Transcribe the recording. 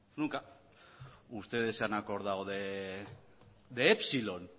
nunca ustedes se han acordado de epsilon